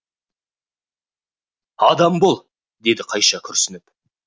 адам бол деді қайша күрсініп